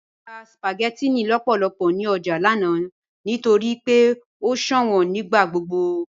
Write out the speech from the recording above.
Mọ rà spaghettinni lọ́pọ̀lọ́pọ̀ ní ọjà lánà nítorí pé o ṣọwọn nígbàgbogbo.